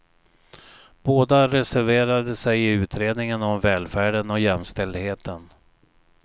Båda reserverade sig i utredningen om välfärden och jämställdheten.